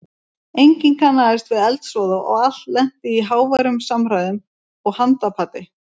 Enginn kannaðist við eldsvoða og allt lenti í háværum samræðum og handapati.